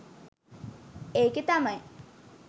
ඒකෙ තමයි